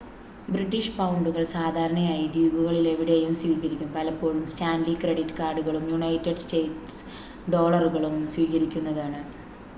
British പൗണ്ടുകൾ സാധാരണയായി ദ്വീപുകളിലെവിടെയും സ്വീകരിക്കും പലപ്പോഴും സ്റ്റാൻലി ക്രെഡിറ്റ് കാർഡുകളും യുണൈറ്റഡ് സ്റ്റേറ്റ്സ് ഡോളറുകളും സ്വീകരിക്കുന്നതാണ്